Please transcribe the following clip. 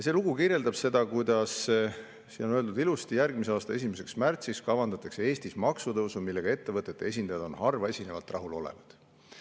See lugu kirjeldab seda, siin on öeldud ilusti: "Järgmise aasta 1. märtsiks kavandatakse Eestis maksutõusu, millega ettevõtete esindajad on harvaesinevalt rahulolevad.